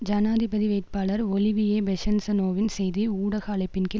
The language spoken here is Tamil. ஜனாதிபதி வேட்பாளர் ஒலிவியே பெசன்ஸநோவின் செய்தி ஊடக அழைப்பின் கீழ்